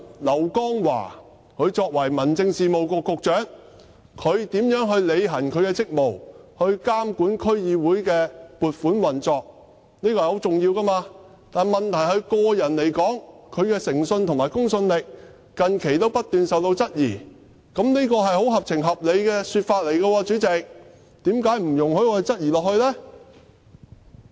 劉江華作為民政事務局局長，他如何履行其職務，以監管區議會的撥款運作，這是十分重要的，問題是就他個人而言，他的誠信和公信力近期不斷受到質疑，主席，這是十分合情合理的說法，為何不容許我繼續質疑呢？